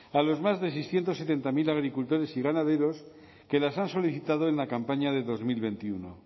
a los más de seiscientos setenta mil agricultores y ganaderos que las han solicitado en la campaña de dos mil veintiuno